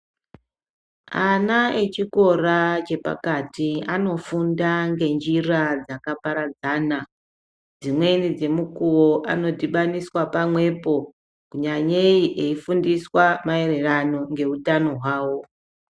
Ana echikora chepakati anofunda ngenjira dzakaparadzana dzimweni dzemukuwo anodhibaniswa pamwepo nyanyeyi eifundiswa maererano neutano hwawo.